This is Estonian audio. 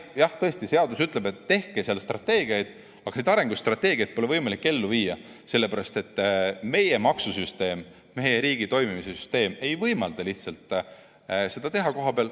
Jah, tõesti seadus ütleb, et tehke strateegiaid, aga neid arengustrateegiaid pole võimalik ellu viia, sest meie maksusüsteem, meie riigi toimimise süsteem ei võimalda lihtsalt seda teha kohapeal.